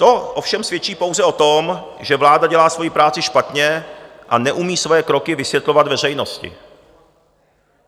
To ovšem svědčí pouze o tom, že vláda dělá svoji práci špatně a neumí svoje kroky vysvětlovat veřejnosti.